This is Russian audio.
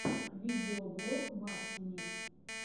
видеоблог максимис